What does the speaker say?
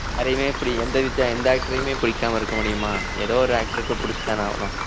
யாரையுமே இப்படி எந்த வித்தியா~ எந்த actor யுமே பிடிக்காம இருக்க முடியுமா ஏதோ ஒரு actor க்கு பிடிச்சுத்தானே ஆவணும்